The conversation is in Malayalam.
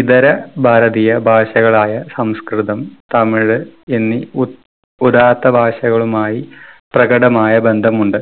ഇതര ഭാരതീയ ഭാഷകളായ സംസ്‌കൃതം തമിഴ് എന്നീ ഉത് ഉദാത്ത ഭാഷകളുമായി പ്രകടമായ ബന്ധമുണ്ട്,